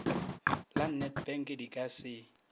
la nedbank di ka se